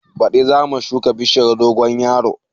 Baɗi zamu shuka bishiyar dogon yaro